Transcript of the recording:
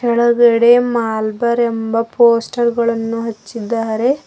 ಕೆಳಗಡೆ ಮಲಬಾರ್ ಎಂಬ ಪೋಸ್ಟರ್ ಅನ್ನು ಹಚ್ಚಿದ್ದಾರೆ.